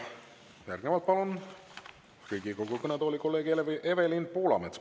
Nii, järgnevalt palun Riigikogu kõnetooli kolleeg Evelin Poolametsa.